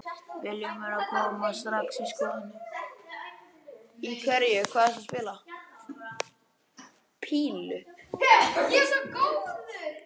Vilhjálmi að koma strax í skoðun.